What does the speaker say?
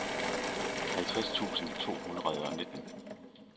halvtreds tusind to hundrede og nitten